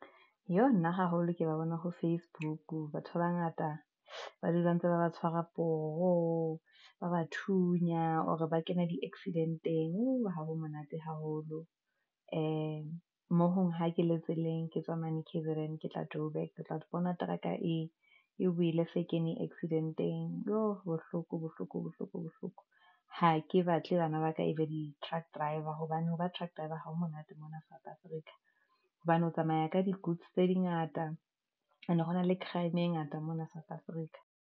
Yo nna haholo ke ba bona ho facebook, batho ba bangata ba dula ntse ba ba tshwarwa poho ba bathunyana hore ba kena di-accident-eng. Woo, ha ho monate haholo ha ke le tseleng, ke tswa mane K_Z_N, ke tla joburg, ke tla bona teraka e wele e se e kene accident-eng. Jo, bohloko bohloko, bohloko bohloko ha ke batle bana ba ka e be di-truck driver hobane ha ba truck driver ha ho monate mona South Africa, hobane ho tsamaya ka di goods tse di ngata ene hona le crime-e ngata mona South Africa.